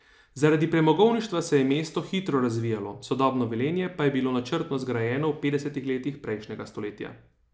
Zaradi premogovništva se je mesto hitro razvijalo, sodobno Velenje pa je bilo načrtno zgrajeno v petdesetih letih prejšnjega stoletja.